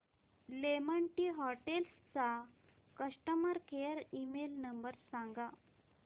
lemon Tree Hotels चा customer care email number सांगा